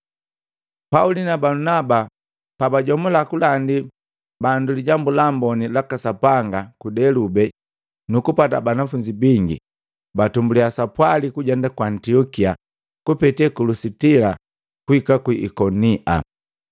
Pauli na Balunaba pabajomula kulandi bandu Lijambu la Amboni laka Sapanga ku Delube nukupata banafunzi bingi, batumbuliya sapwali kujenda ku Antiokia kupete ku Lusitila kuhika ku Ikonia.